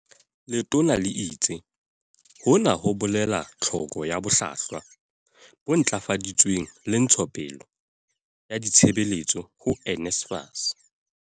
Letona le itse, "Hona ho bolela tlhoko ya bohlwahlwa bo ntlafaditsweng le ntshe tsopele ya ditshebetso ho NSFAS."